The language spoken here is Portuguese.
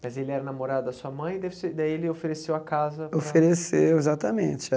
Mas ele era namorado da sua mãe, daí ele ofereceu a casa para... Ofereceu, exatamente.